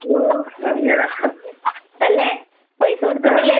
ഓ അങ്ങനാ. ആഹ്.